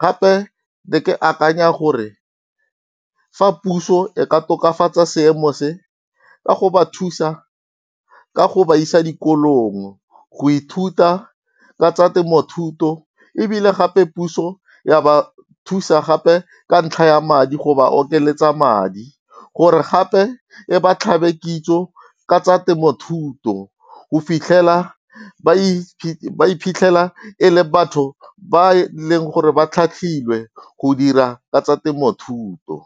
Gape ne ke akanya gore fa puso e ka tokafatsa seemo se, ka go ba thusa ka go ba isa dikolong go ithuta ka tsa temothuo. Ebile gape puso ya ba thusa gape ka ntlha ya madi go ba okeletsa madi, gore gape e ba tlhabe kitso ka tsa temothuto go fitlhela ba iphitlhela e le batho ba e leng gore, ba tlhatlhilwe go dira ka tsa temothuo.